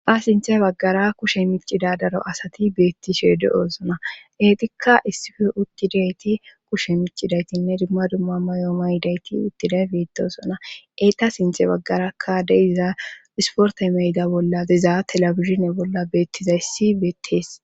ba sinthe baggara kushe micida daro asati beettshe de'osona eetikka issife uttidayti kushe micidaytinne dumma dumma mayo maydayti uttiday betosona eeta sinte baggarakka de'iza isporte meyda bolla diza telabizhine bolla beettizayssi beettees